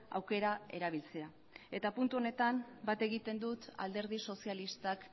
aukera erabiltzea eta puntu honetan bat egiten dut alderdi sozialistak